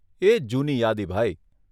એજ જૂની યાદી, ભાઈ.